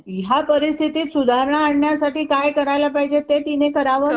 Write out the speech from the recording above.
कशाकशाची दाखला कोणकोणत्या ह्याच्यासाठी.